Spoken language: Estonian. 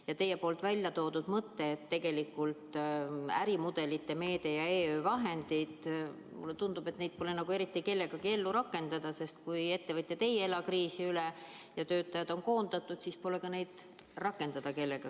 Ja teie välja toodud mõte kasutada ärimudelite meedet ja EU vahendeid – mulle tundub, et neid pole nagu eriti kellegagi ellu rakendada, sest kui ettevõtjad ei ela kriisi üle ja töötajad on koondatud, siis pole neid kellelegi rakendada.